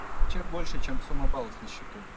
чек больше чем сумма баллов на счету